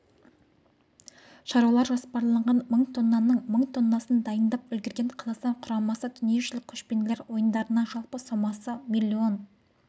шаруалар жоспарлаған мың тоннаның мың тоннасын дайындап үлгерген қазақстан құрамасы дүниежүзілік көшпенділер ойындарынан жалпы сомасы млн